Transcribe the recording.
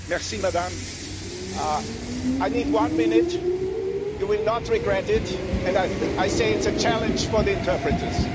Madam President, I need one minute. You will not regret it and I say it's a challenge for the interpreters.